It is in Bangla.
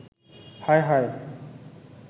হায়, হায়